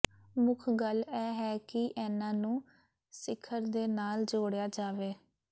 ਮੁੱਖ ਗੱਲ ਇਹ ਹੈ ਕਿ ਇਹਨਾਂ ਨੂੰ ਸਿਖਰ ਦੇ ਨਾਲ ਜੋੜਿਆ ਜਾਵੇ